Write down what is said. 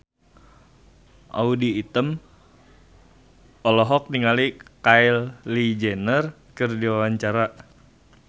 Audy Item olohok ningali Kylie Jenner keur diwawancara